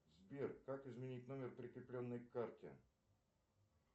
сбер как изменить номер прикрепленный к карте